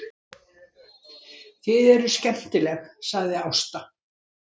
Þið eruð skemmtileg, sagði Ásta.